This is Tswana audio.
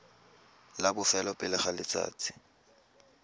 la bofelo pele ga letsatsi